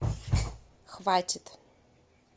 хватит